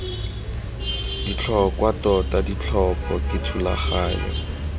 botlhokwa tota ditlhopho ke thulaganyo